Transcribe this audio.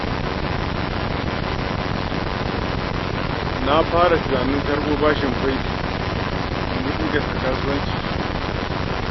Na fara tunanin karɓo bashin banki domin inganta kasuwancina sosai.